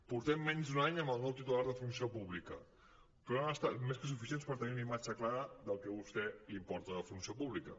portem menys d’un any amb el nou titular de funció pública però ha estat més que suficient per tenir una imatge clara del que a vostè l’importa la funció pública